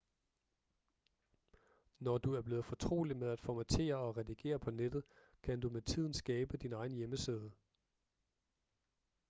når du er blevet fortrolig med at formattere og redigere på nettet kan du med tiden skabe din egen hjemmeside